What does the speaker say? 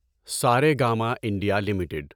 Saregama India limited